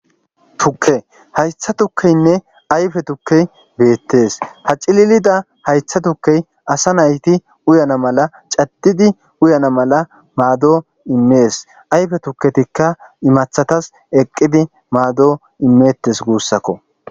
Tukke haytha tukkeynne ayfe tukkey beettes hacililida haytha tukkey asa nayti uyana mala caddidi uyana mala maado immees ayfe tukketikka imathatas eqqidi maado imeettes guussakko.